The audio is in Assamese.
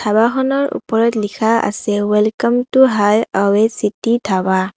খনৰ উপৰত লিখা আছে welcome to highway city dhaba.